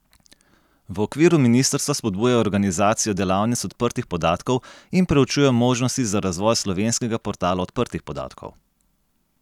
V okviru ministrstva spodbujajo organizacijo delavnic odprtih podatkov in preučujejo možnosti za razvoj slovenskega portala odprtih podatkov.